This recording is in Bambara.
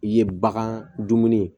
I ye bagan dumuni ye